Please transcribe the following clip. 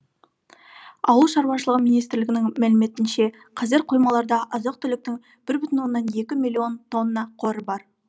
ауыл шаруашылығы министрлігінің мәліметінше қазір қоймаларда азық түліктің бір бүтін оннан екі миллион тонна қоры бар